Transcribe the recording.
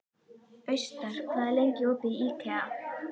Austar, hvað er lengi opið í IKEA?